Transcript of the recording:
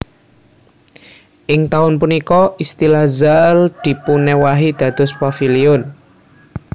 Ing taun punika istilah Zaal dipunéwahi dados Paviliun